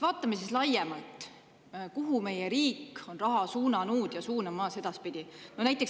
Vaatame laiemalt, kuhu meie riik on raha suunanud ja kuhu edaspidi suunab.